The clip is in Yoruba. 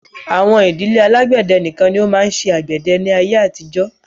Àwọn ìdílé alágbẹ̀dẹ nìkan ni ó máa ń ṣe àgbẹ̀dẹ ní ayé àtijó.